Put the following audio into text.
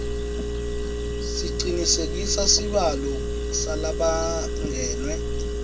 sicinisekise sibalo salabangenwe